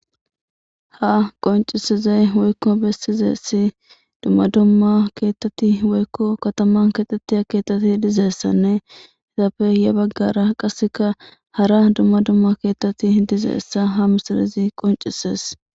Ha qoncisizey woykko bessizessi dumma dumma keetteti woykko katama kexettiya keettati dizeessanne hidappe ya baggara qasseka hara dumma dumma keettati dizeessa ha misarizi qoncisees